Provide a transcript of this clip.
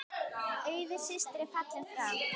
Auður systir er fallin frá.